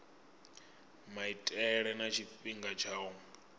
maitele na tshifhinga tsha u